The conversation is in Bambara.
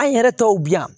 An yɛrɛ tɔw bi yan